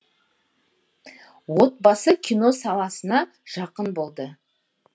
отбасы кино саласына жақын болды